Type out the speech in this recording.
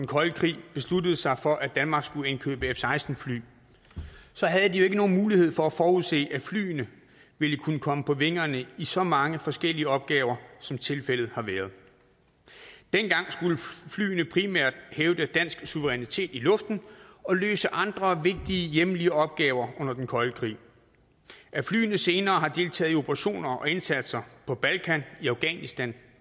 kolde krig besluttede sig for at danmark skulle indkøbe f seksten fly havde de jo ikke nogen mulighed for at forudse at flyene ville kunne komme på vingerne i så mange forskellige opgaver som tilfældet har været dengang skulle flyene primært hævde dansk suverænitet i luften og løse andre vigtige hjemlige opgaver under den kolde krig at flyene senere har deltaget i operationer og indsatser på balkan i afghanistan